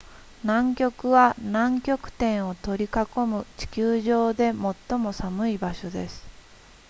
南極は南極点を取り囲む地球上で最も寒い場所です